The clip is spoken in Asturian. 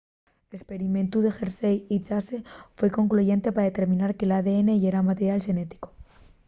l'esperimentu de hershey y chase foi concluyente pa determinar que l'adn yera material xenético